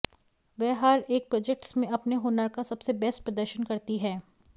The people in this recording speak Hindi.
वह हर एक प्रोजेक्ट्स में अपने हुनर का सबसे बेस्ट प्रदर्शन करती हैं